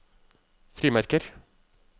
frimerker